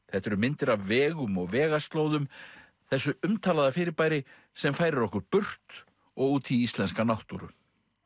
þetta eru myndir af vegum og vegaslóðum þessu umtalaða fyrirbæri sem færir okkur burt og út í íslenska náttúru